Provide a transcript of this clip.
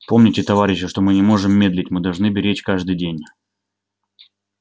помните товарищи что мы не можем медлить мы должны беречь каждый день